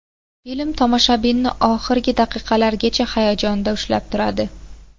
Film tomoshabinni oxirgi daqiqalargacha hayajonda ushlab turadi.